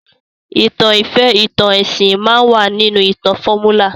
ìtàn ìfẹ́, ìtàn ẹsìn máa wà nínú ìtàn fọ́múlà